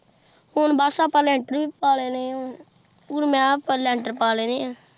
ਹੁਣ ਬਸ ਆਪਾਂ ਲੈਂਟਰ ਵੀ ਪਾ ਲੈਣੇ ਏ ਹੁਣ ਮੈਂ ਕਿਹਾ ਆਪਾਂ ਲੈਂਟਰ ਪਾ ਲੈਣੇ ਏ।